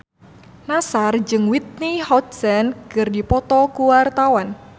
Nassar jeung Whitney Houston keur dipoto ku wartawan